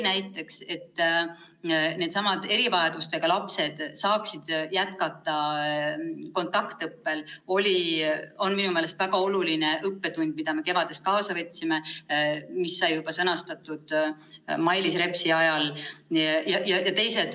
Näiteks on see, et erivajadustega lapsed saaksid jätkata kontaktõppel, minu meelest väga oluline õppetund, mida me kevadest kaasa võtsime ja mis sai sõnastatud juba Mailis Repsi ajal.